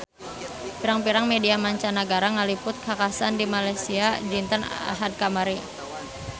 Pirang-pirang media mancanagara ngaliput kakhasan di Malaysia dinten Ahad kamari